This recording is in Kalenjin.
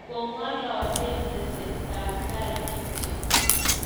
kong'ololen tesetab tai kityo